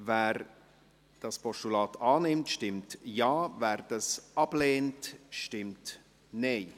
Wer das Postulat annimmt, stimmt Ja, wer dieses ablehnt, stimmt Nein.